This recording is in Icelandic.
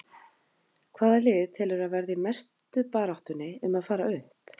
Hvaða lið telurðu að verði í mestu baráttunni um að fara upp?